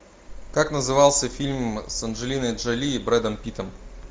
как назывался фильм с анджелиной джоли и брэдом питтом